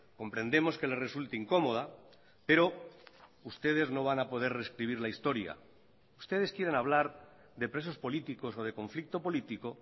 comprendemos que le resulte incómoda pero ustedes no van a poder rescribir la historia ustedes quieren hablar de presos políticos o de conflicto político